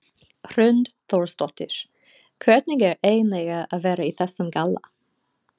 Hrund Þórsdóttir: Hvernig er eiginlega að vera í þessum galla?